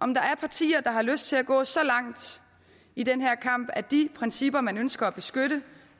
om der er partier der har lyst til at gå så langt i den her kamp at de principper man ønsker at beskytte